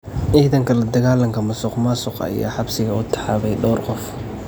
Ciidanka la dagaalanka musuqmaasuqa ayaa xabsiga u taxaabay dhowr qof.